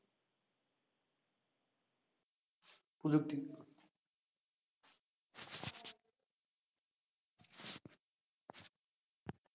প্রযুক্তি।